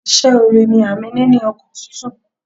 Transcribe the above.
Ìse ore ni àmì níní ọkàn tútù